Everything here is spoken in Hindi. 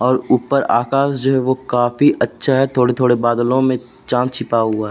और ऊपर आकाश जो है वो काफी अच्छा है। थोड़े-थोड़े बादलो मैं चाँद छिपा हुआ है।